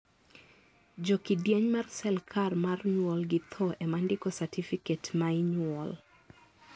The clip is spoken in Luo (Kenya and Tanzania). jo kidieny mar serkal mar nyuol gi tho ema ndiko satifiket may nyuol